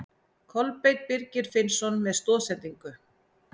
Kolbeinn Birgir Finnsson með stoðsendingu.